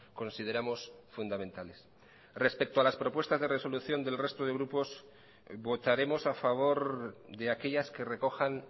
consideramos fundamentales respecto a las propuestas de resolución del resto de grupos votaremos a favor de aquellas que recojan